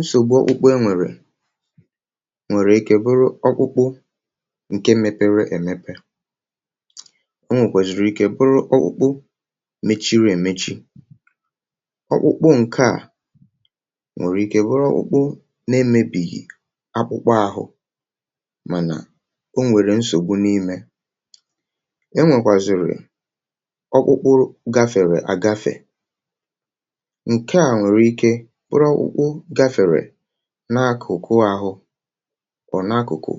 nsògbu ọkpụkpụ e nwèrè nwèrè ike bụrụ ọkpụkpụ ǹke mepere èmepe o nwèkwèzìrì ike bụrụ ọkpụkpụ mechiri èmechi ọkpụkpụ ǹkeà nwèrè ike bụrụ ọkpụkpụ na-ēmebìghì akpụkpọ āhụ̄ mànà o nwèrè nsògbu n’imē e nwèkwàzị̀rị̀ ọkpụkpụ gafèrè àgafè ǹkeà nwèrè ike bụrụ ọkpụkpụ gafèrè n’akụ̀kụ āhụ̄ mọ̀ọ̀ n’akụ̀kụ̀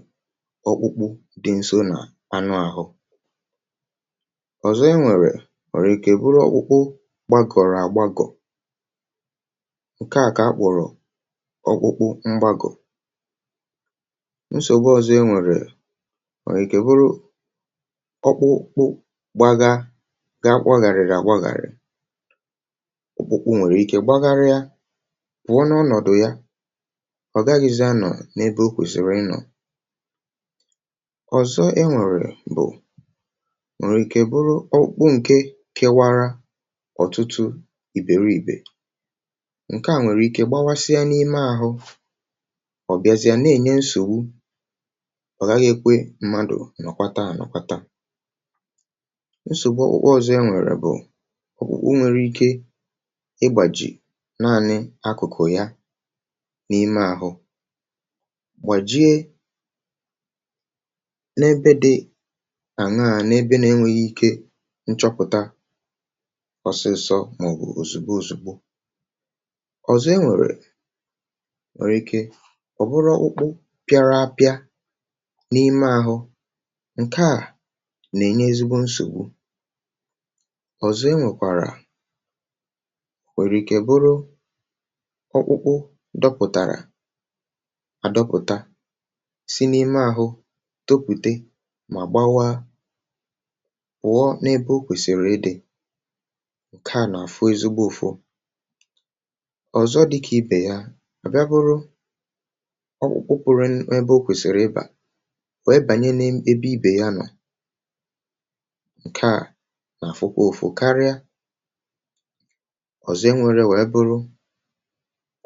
ọkpụkpụ dị nso n’anụ āhụ̄ ọ̀zọ e nwèrè nwèrè ike bụrụ ọkpụkpụ gbagọ̀rọ̀ àgbagọ̀ ǹkeà kà a kpọ̀rọ̀ ọkpụkpụ mgbagọ̀ nsògbu ọ̄zọ̄ e nwèrè nwèrè ike bụrụ ọkpụkpụ gbāgā ga-agwaghàrị̀rị̀ àgwaghàrị̀ ọkpụkpụ nwèrè ike gbagharịa pụ̀ọ n’ọnọ̀dụ̀ ya ọ̀ gaghị̄zị anọ̀ n’ebe o kwèsìrì ịnọ̀ ọ̀zọ e nwèrè bụ̀ nwèrè ike bụrụ ọkpụkpụ ǹke kēwara ọ̀tụtụ ìbèri ìbè ǹkeà nwèrè ike gbawasịa n’ime āhụ̄ ọ̀ bịazịa na-ènye nsògbu ọ̀ gaghị̄ ekwe mmadụ̀ nọ̀kwata ànọ̀kwata nsògbu ọkpụkpụ ọ̄zọ̄ e nwèrè bụ̀ ọkpụkpụ nwērē ike ịgbàjì naānị akụ̀kụ̀ ya n’ime āhụ̄ gbàjie n’ebe dị̄ àṅaā n’ebe na-enweghī ike nchọpụ̀ta ọsịị̄sọ̄ màọ̀bụ̀ òzìgbo òzìgbo ọ̀zọ e nwèrè nwèrè ike ọ̀ bụrụ ọkpụkpụ pịara apịa n’ime āhụ̄ ǹkeà nà-ènye ezigbo nsògbu ọ̀zọ e nwèkwàrà nwèrè ike bụrụ ọkpụkpụ dọpụ̀tàrà àdọpụ̀ta si n’ime āhụ̄ topùte mà gbawaa wʊ̀ɔ́ né:bé ó kʷèsìrì ɪ́dɪ̄ ǹkeà nà-àfụ ezigbo ụ̄fụ̄ ọ̀zọ dịkà ibè ya àbịa bụrụ ọkpụkpụ pụ̄rụ̄ n’ebe o kwèsìrì ịbà wèe bànye ne n’ebe ibè ya nọ̀ ǹkeà nà-àfụkwa ụ̄fụ̄ karịa ọ̀zọ e nwērē wèe bụrụ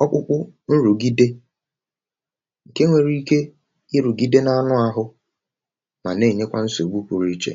ọkpụkpụ nrụ̀gide ǹke nwērē ike irùgide n’anụ āhụ̄ mà na-ènyekwa nsògbu pụ̄rụ̄ ichè